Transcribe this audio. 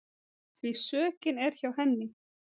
Því sökin er hjá henni.